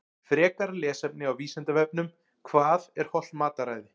Frekara lesefni á Vísindavefnum Hvað er hollt mataræði?